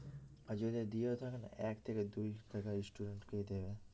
আর যদি দিয়েও থাকে না এক থেকে দুই থাকা student কেই দেবে